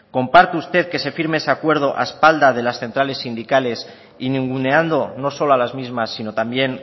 comparte usted que se firme ese acuerdo a espalda de las centrales sindicales y ninguneando no solo a las mismas sino también